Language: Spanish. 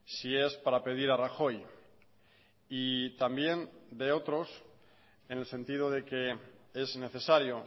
si es para pedir a rajoy y también de otros en el sentido de que es necesario